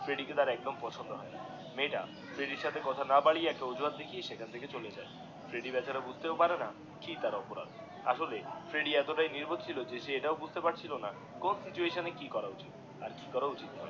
ফ্রেডিডিএ কে তার একদম পছন্দ হয়না মেয়েটা ফ্রেডিডিএর সাথে কথা না বাড়িয়ে একটু অজুহাত দেখিয়ে সেখান থেকে চলে যায় ফ্রেডিডিএ বেচারা বুঝতেও পারেনা কি তার অপরাধ আসলে ফ্রেডি এত তাই নির্বোধ ছিল এ সে এটাও বুজতেও পারছিলোনা যে কোন সিচুয়েশন কি করা উচিত করা উচিত না